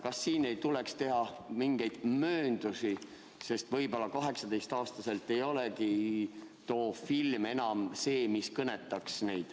Kas siin ei tuleks teha mingeid mööndusi, sest võib-olla 18-aastaselt too film neid enam ei kõnetagi?